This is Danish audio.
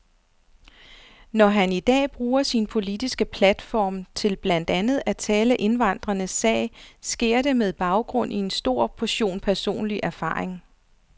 Når han i dag bruger sin politiske platform til blandt andet at tale indvandrernes sag, sker det med baggrund i en stor portion personlig erfaring.